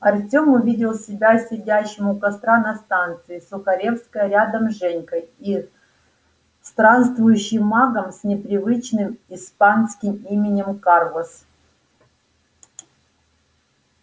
артем увидел себя сидящим у костра на станции сухаревская рядом с женькой и странствующим магом с непривычным испанским именем карлос